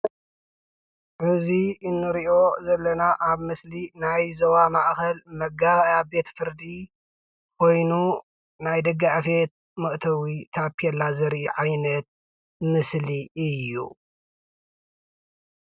እዚ እንሪኦ ዘለና ኣብ ምስሊ ኣብ ዞባ ማእከል መጋባእያ ቤት ፍርዲ ኮይኑ ናይ ደጊ ኣፌት ታፔላ ዘርኢ ዓይነት ምስሊ እዩ።